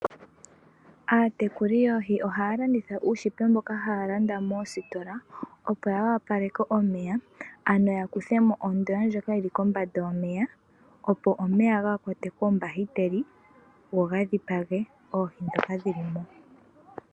Aatekuli yoohi ohaya langitha uushipe woohi mboka haya landa moositola moositola opo ya wapalekwe omeya ano yakuthemo ondoya ndjoka yili kombanda yomeya opo omeya kaga kwatwe koombahiteli go ga dhipage oohi ndhoka dhilimo.